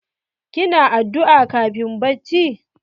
Ki na addu'a kafin bacci?